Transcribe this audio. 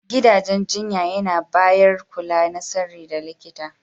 Gidajen jinya yana bayar kula na sirri da likita.